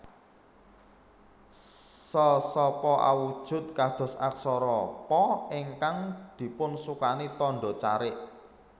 Sa sapa awujud kados aksara Pa ingkang dipunsukani tandha carik